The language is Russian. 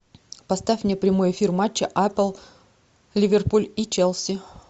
поставь мне прямой эфир матча апл ливерпуль и челси